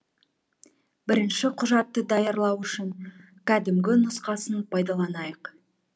бірінші құжатты даярлау үшін кәдімгі нұсқасын пайдаланайық